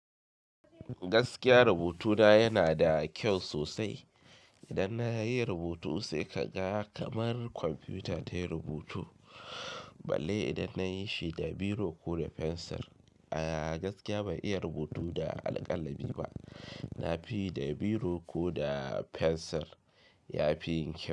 Gaskiya rubutu na yana da kyau sosai. Idan na yi rubutu sai ka ga kamar kwamfuta ta yi rubutu. Balle idan na yi shi da biro ko da fensir. A gaskiya ban iya rubutu da alƙalami ba. Na fi yi da biro ko da fensir, ya fi yin kyau.